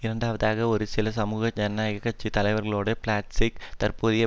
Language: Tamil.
இரண்டாவதாக ஒரு சில சமூக ஜனநாயக கட்சி தலைவர்களைவிட பிளாட்சேக் தற்போதைய